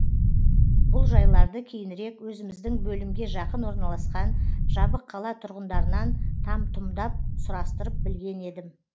бұл жайларды кейінірек өзіміздің бөлімге жақын орналасқан жабық қала тұрғындарынан там тұмдап сұрастырып білген едім